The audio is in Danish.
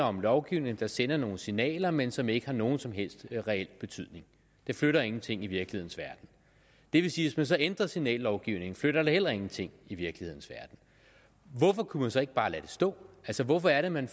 om lovgivning der sender nogle signaler men som ikke har nogen som helst reel betydning det flytter ingenting i virkelighedens verden det vil sige man så ændrer signallovgivningen flytter det heller ingenting i virkelighedens verden hvorfor kunne man så ikke bare lade det stå altså hvorfor er det man